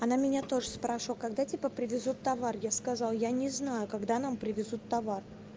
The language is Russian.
она меня тоже спрошу когда типа привезут товар я сказал я не знаю когда нам привезут товар